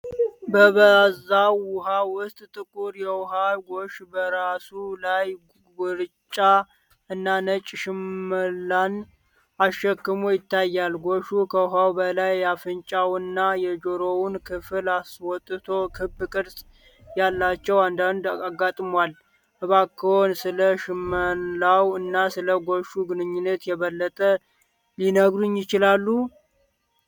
በባዘው ውሃ ውስጥ ጥቁር የውሃ ጎሽ በራሱ ላይ ግራጫ እና ነጭ ሽመላን አሸክሞ ይታያል። ጎሹ ከውኃው በላይ የአፍንጫውንና የጆሮውን ክፍል አስወጥቶ ክብ ቅርጽ ያላቸው ቀንድቹን አጋድሟል። እባክዎ ስለ ሽመላው እና ስለ ጎሹ ግንኙነት የበለጠ ሊነግሩኝ ይችላሉ?